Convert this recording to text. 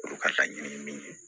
Olu ka laɲini min ye